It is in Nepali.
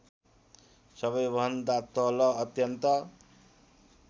सबैभन्दा तल अत्यन्त